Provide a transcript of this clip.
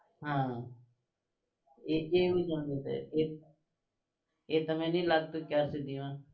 હા એ એવું સમજે છે એ એ તમને નઈ લાગતું અત્યાર સુધીમાં